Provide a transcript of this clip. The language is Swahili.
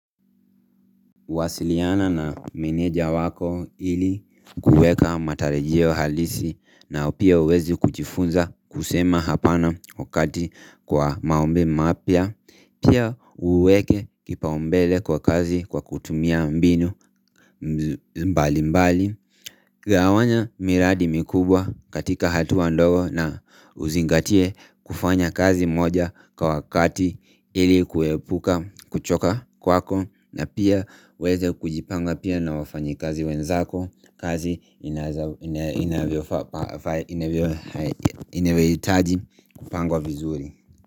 Kuwasiliana na meneja wako ili kuweka matarajio halisi na pia uweze kujifunza kusema hapana wakati kwa maombi mapya, pia uweke kipaumbele kwa kazi kwa kutumia mbinu mbalimbali. Gawanya miradi mikubwa katika hatua ndogo na uzingatie kufanya kazi moja kwa wakati ili kuepuka kuchoka kwako na pia uweze kujipanga pia na wafanyikazi wenzako, kazi inavyohitaji kupangwa vizuri.